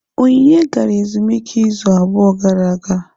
Onyinye gara ezumike izu abụọ gara aga.